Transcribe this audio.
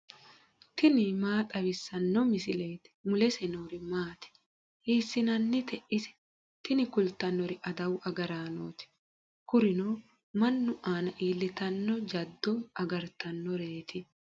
tini maa xawissanno misileeti ? mulese noori maati ? hiissinannite ise ? tini kultannori adawu agaraanooti kurino mannu aana iillitanno jaddo agartannoreeti.